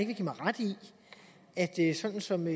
vil give mig ret i i sådan som